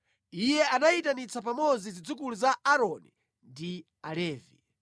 Iye anayitanitsa pamodzi zidzukulu za Aaroni ndi Alevi: